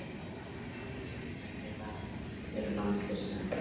Jafnvel svokallaðir varamenn þeirra eru landsliðsmenn.